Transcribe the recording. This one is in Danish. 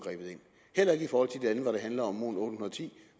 har det handler om mon810